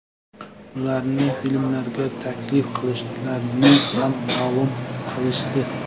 Ularni filmlarga taklif qilishlarini ham ma’lum qilishdi.